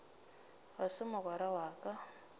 ga se mogwera wa ka